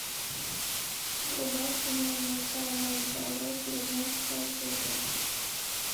врубай кино большая маленькая ложь девятнадцатая серия